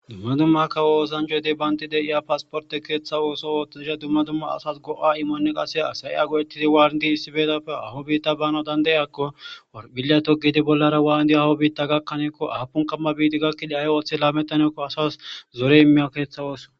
Dumma dumma kawo ooosanjo ede baynti de iya pasporte keeththa ooso ooththesha dumma dumma asas go'a imone qase asa'i a go'etizi waarn di issibeetapfe aho biitta bana dandeyakko billatogidi bollara waandi aho biitta gakkaneekko aapun kamma biiti gakkide ay ooththe laamettaneekko asas zore imeya keeththa ooso.